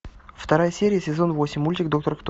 вторая серия сезон восемь мультик доктор кто